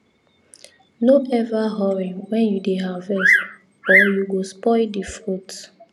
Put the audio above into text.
no ever hurry when you dey harvest or you go spoil the fruit